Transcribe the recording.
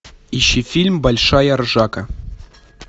ищи фильм большая ржака